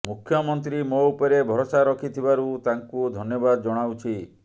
ମୁଖ୍ୟମନ୍ତ୍ରୀ ମୋ ଉପରେ ଭରସା ରଖିଥିବାରୁ ତାଙ୍କୁ ଧନ୍ୟବାଦ ଜଣାଉଛି